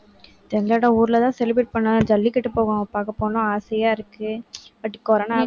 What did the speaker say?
எங்களோட ஊர்ல தான் celebrate பண்ணும். ஜல்லிக்கட்டு போக~ பார்க்க போகணும்னு ஆசையா இருக்கு but corona வ